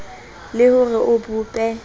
le ho re o bope